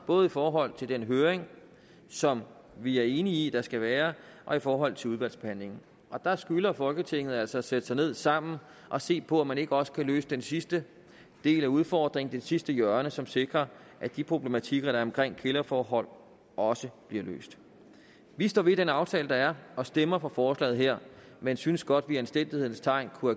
både i forhold til den høring som vi er enige i at der skal være og i forhold til udvalgsbehandlingen der skylder folketinget altså at sætte sig ned sammen og se på om man ikke også kan løse den sidste del af udfordringen og det sidste hjørne som sikrer at de problematikker der er omkring kælderforhold også bliver løst vi står ved den aftale der er og stemmer for forslaget her men synes godt at vi i anstændighedens tegn kunne